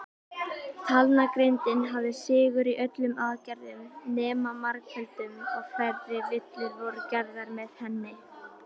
Talnagrindin hafði sigur í öllum aðgerðum nema margföldun, og færri villur voru gerðar með henni.